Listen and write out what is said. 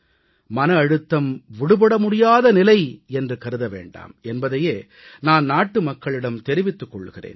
மன அழுத்தம் விடுபட முடியாத நிலை என்று கருத வேண்டாம் என்பதையே நான் நாட்டுமக்களிடம் தெரிவித்துக் கொள்கிறேன்